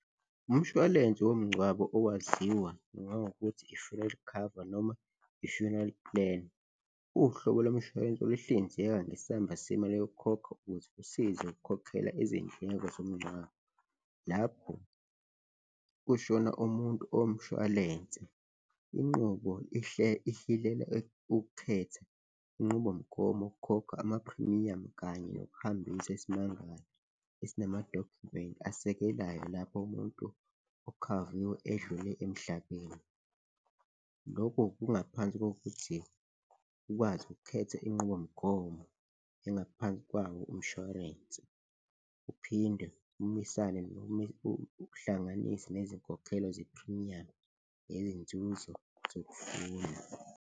Umshwalense womngcwabo owaziwa nangokuthi i-funeral cover noma i-funeral plan, uwuhlobo lomshwalense oluhlinzeka ngesamba semali yokukhokha ukuze usize ukukhokhela izindleko zomngcwabo lapho kushona umuntu omshwalense. Inqubo ihlilela ukukhetha inqubomgomo yokukhokha amaphrimiyamu kanye nokuhambisa esinamadokhumenti asekelayo lapho umuntu okhaviwe edlule emhlabeni. Lokho kungaphansi kokuthi ukwazi ukukhetha inqubomgomo engaphansi kwawo umshwarensi uphinde umisane noma uhlanganise nezinkokhelo zephrimiyamu yezinzuzo .